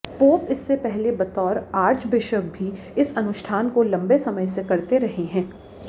pope इससे पहले बतौर आर्चबिशप भी इस अनुष्ठान को लंबे समय से करते रहे हैं